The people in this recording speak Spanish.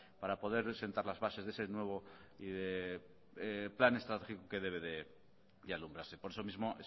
pues para poder sentar las bases de ese nuevo plan estratégico de alumbrado y por eso mismo